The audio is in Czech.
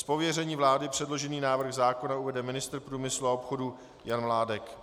Z pověření vlády předložený návrh zákona uvede ministr průmyslu a obchodu Jan Mládek.